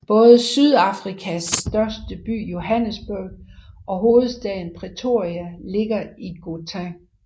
Både Sydafrikas største by Johannesburg og hovedstaden Pretoria ligger i Gauteng